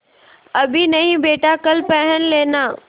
अभी नहीं बेटा कल पहन लेना